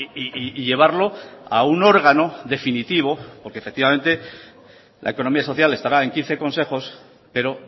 y llevarlo a un órgano definitivo porque efectivamente la economía social estará en quince consejos pero